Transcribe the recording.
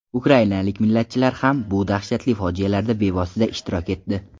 Ukrainalik millatchilar ham bu dahshatli fojialarda bevosita ishtirok etdi .